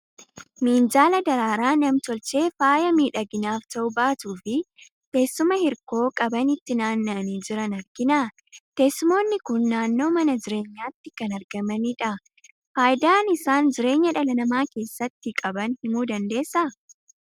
Minjaala daraaraa nam tolchee faaya miidhaginaaf ta'u baatuu fi teessuma hirkoo qaban itti naanna'anii jiran argina. Teessumoonni kun naannoo mana jireenyaatti kan argamanidha. Faayidaa isaan jireenya dhala namaa keessatti qaban himuu ni dandeessaa?